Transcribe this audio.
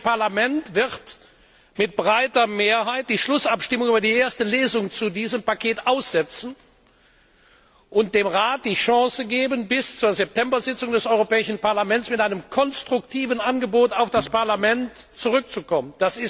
Das Europäische Parlament wird mit breiter Mehrheit die Schlussabstimmung über die erste Lesung zu diesem Paket aussetzen und dem Rat die Chance geben, bis zur September Tagung des Europäischen Parlaments mit einem konstruktiven Angebot auf das Parlament zurückzukommen.